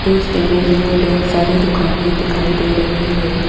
इस इमेज में ढेर सारी दुकाने दिखाई दे रही है।